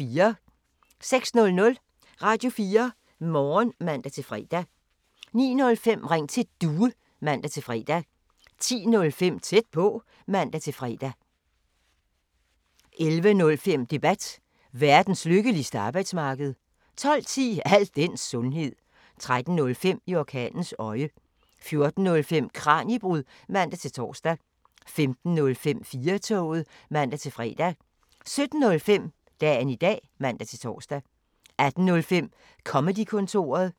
06:00: Radio4 Morgen (man-fre) 09:05: Ring til Due (man-fre) 10:05: Tæt på (man-fre) 11:05: Debat: Verdens lykkeligste arbejdsmarked 12:10: Al den sundhed 13:05: I orkanens øje 14:05: Kraniebrud (man-tor) 15:05: 4-toget (man-fre) 17:05: Dagen i dag (man-tor) 18:05: Comedy-kontoret